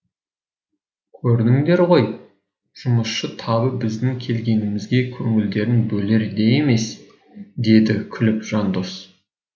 көрдіңдер ғой жұмысшы табы біздің келгенімізге көңілдерін бөлер де емес деді күліп жандос